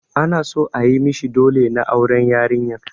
Ana son ayi mishi ɗole na auren yarinyar.